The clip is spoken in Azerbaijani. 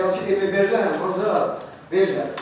Serial ki, demək verirəm, ancaq verirəm.